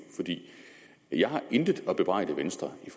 jeg har intet at bebrejde venstre i